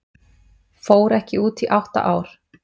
Fór ekki út í átta ár